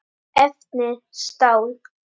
Efni: stál.